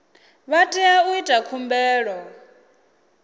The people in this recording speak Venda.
vha tea u ita khumbelo